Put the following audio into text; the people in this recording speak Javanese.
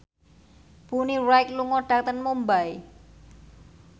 Bonnie Wright lunga dhateng Mumbai